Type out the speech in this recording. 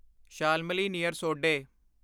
Shalmali near ਸੋਡੇ